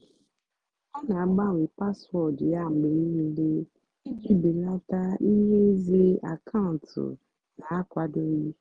ọ́ nà-àgbànwé páswóọ̀dụ́ yá mgbe níìlé ìjì bèlátá íhé ìzè ákàụ́ntụ́ nà-ákwádòghì.